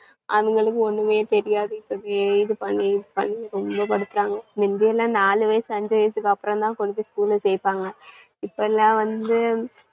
அதுங்களுக்கு ஒண்ணுமே தெரியாது, அப்படியே இதுபண்ணி இதுபண்ணி ரொம்ப படுத்துறாங்க. மிந்தியிலாம் நாலு வயசு அஞ்சு வயசுக்கு அப்பறம்தான் கொண்டுபோய் school ல சேப்பாங்க. இப்பலாம் வந்து